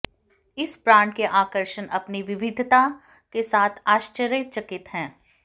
इस ब्रांड के आकर्षण अपनी विविधता के साथ आश्चर्यचकित हैं